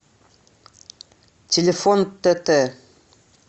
телефон тт